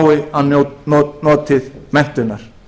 börn fái notið menntunar